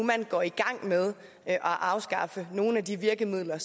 går i gang med at afskaffe nogle af de virkemidler